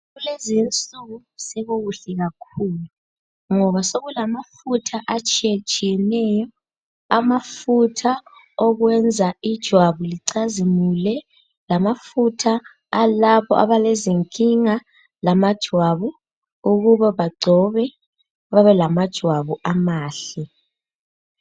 Kulezinsuku sekukuhle kakhulu ngoba sekulamafutha atshiyetshiyeneyo. Amafutha okwenza ijwabu licazimule, lamafutha alabo abalezinkinga lamajwabu Ukuba bagcobe babe lamajwabu amahle.